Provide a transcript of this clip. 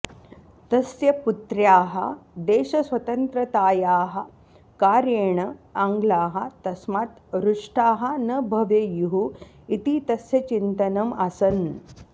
तस्य पुत्र्याः देशस्वतन्त्रतायाः कार्येण आङ्ग्लाः तस्मात् रुष्टाः न भवेयुः इति तस्य चिन्तनम् आसन्